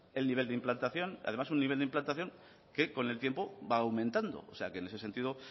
el nivel de implantación además un nivel de implantación que con el tiempo va aumentando o sea que en ese sentido